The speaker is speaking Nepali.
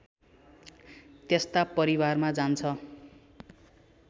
त्यस्ता परिवारमा जान्छ